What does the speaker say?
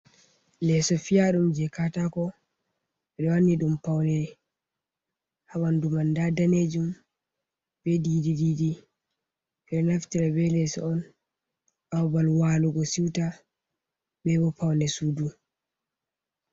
Leeso fiyaɗum jey kataako, ɓe wanni ɗum pawne, haa ɓanndu man, ndaa daneejum be diidi diidi. Ɓe ɗo naftira be leeso on, haa babal waalugo siwta be bo pawne suudu.